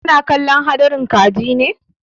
Kana kallon kalli ka ji ne?